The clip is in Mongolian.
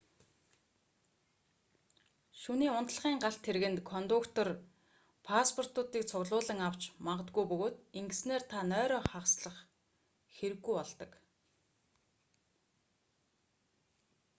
шөнийн унтлагын галт тэргэнд кондуктор паспортуудыг цуглуулан авч магадгүй бөгөөд ингэснээр та нойроо хагаслах хэрэггүй болдог